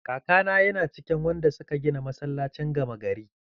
Kakana yana cikin wanda suka gina masallacin gama gari.